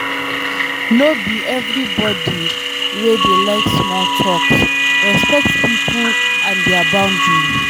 No be everybodi dey like small talks, respect pipo and their boundry